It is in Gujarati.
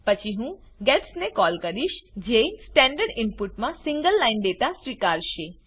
પછી હું ગેટ્સ ને કોલ કરિશ જે સ્ટેન્ડર્ડ ઇનપુટ માં સિંગલ લાઈન ડેટા સ્વીકારશે